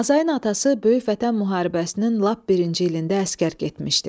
Azayın atası Böyük Vətən müharibəsinin lap birinci ilində əsgər getmişdi.